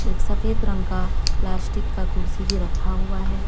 एक सफेद रंग का प्लास्टिक का कुर्सी भी रखा हुआ है।